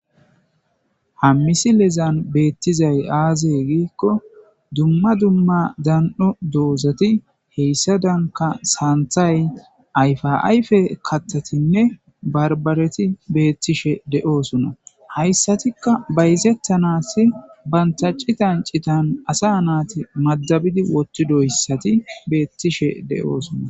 h milezan beettizay aazey giikko dumma dumma dan7o doozati heyssa danka saanthay ayfaayfe kattatinne barbareti beettishe de7oosuna hayssatikka bayzettanas bantaci tancitan asa naati madabidi wotti doyssati beettishe de7oosuna